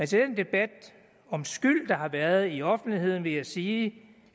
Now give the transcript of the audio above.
den debat om skyld der har været i offentligheden vil jeg sige